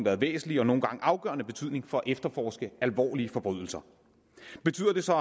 af væsentlig og nogle gange af afgørende betydning for efterforske alvorlige forbrydelser betyder det så